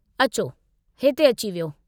अचो, हिते अची वीहो।